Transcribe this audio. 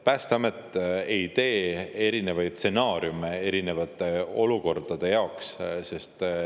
Päästeamet ei tee erinevaid stsenaariume erinevate olukordade jaoks.